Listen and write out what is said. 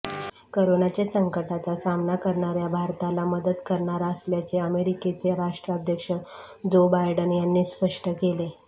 करोनाच्या संकटाचा सामना करणाऱ्या भारताला मदत करणार असल्याचे अमेरिकेचे राष्ट्राध्यक्ष जो बायडन यांनी स्पष्ट केले